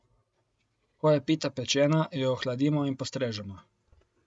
Ko je pita pečena, jo ohladimo in postrežemo.